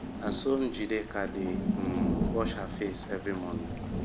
na so njideka dey um wash her face every morning